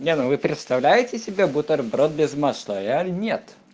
не ну вы представляете себе бутерброд без масла я нет